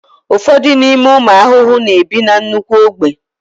ụfọdụ n'ime ụmụ ahụhụ na-ebi na nnukwu ogbe